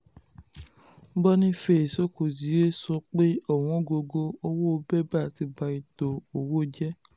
boniface okezie sọ pé ọ̀wọ́n gógó owó bébà ti ba ètò owó jẹ́.